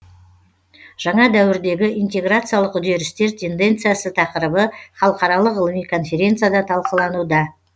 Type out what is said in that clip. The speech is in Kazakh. жаңа дәуірдегі интеграциялық үдерістер тенденциясы тақырыбы халықаралық ғылыми конференцияда талқылануда